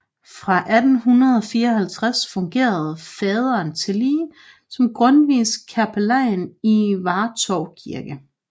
Fra 1854 fungerede faderen tillige som Grundtvigs kapellan i Vartov Kirke